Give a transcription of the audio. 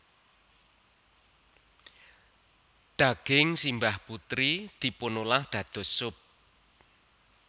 Daging simbah putri dipunolah dados sup